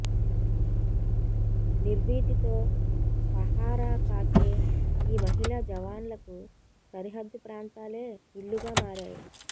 నిర్భీతితో పహారాకాసే ఈ మహిళా జవాన్లకు సరిహద్దు ప్రాంతాలే ఇళ్లుగా మారాయి